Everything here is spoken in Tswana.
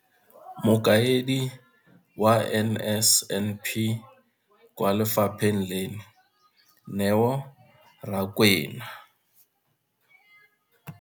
Mokaedi wa NSNP kwa lefapheng leno, Neo Rakwena.